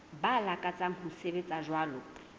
ba lakatsang ho sebetsa jwalo